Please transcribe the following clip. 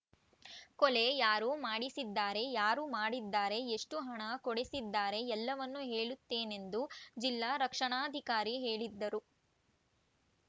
ಕೊಲೆ ಯಾರು ಮಾಡಿಸಿದ್ದಾರೆ ಯಾರು ಮಾಡಿದ್ದಾರೆ ಎಷ್ಟುಹಣ ಕೊಡಿಸಿದ್ದಾರೆ ಎಲ್ಲವನ್ನು ಹೇಳುತ್ತೇನೆಂದು ಜಿಲ್ಲಾ ರಕ್ಷಣಾಧಿಕಾರಿ ಹೇಳಿದ್ದರು